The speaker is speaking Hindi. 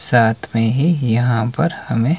साथ में ही यहां पर हमें--